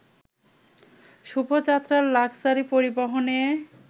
শুভযাত্রার luxury পরিবহনে